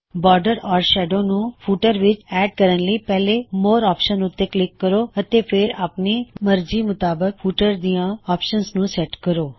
border ਜਾਂ shadow ਨੂੰ footer ਵਿੱਚ ਐੱਡ ਕਰਨ ਲਈ ਪਹਿਲੇ ਮੋਰ ਆਪਸ਼ਨ ਉੱਤੇ ਅਤੇ ਕਲਿੱਕ ਕਰੋ ਅਤੇ ਫੇਰ ਆਪਨੀ ਮਰਜੀ ਮੁਤਾਬਕ ਫੁਟਰ ਦਿਆਂ ਆਪਸ਼ਨਜ ਨੂੰ ਸੈਟ ਕਰੋ